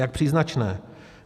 Jak příznačné.